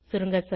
சுருங்க சொல்ல